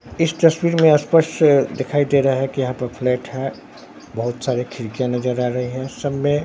इस तस्वीर में स्पष्ट दिखाई दे रहा है कि यहां पर फ्लैट है बहुत सारे खिड़कियां नजर आ रहे हैं सब में।